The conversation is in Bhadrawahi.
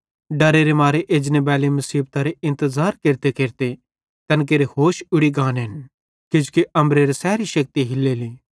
डर्रे मारे एजने बैली मुसीबतरे इंतज़ार केरतेकेरते तैन केरे होश उड़ी गानेन किजोकि अम्बरेरी सैरी शेक्ति हिल्लेली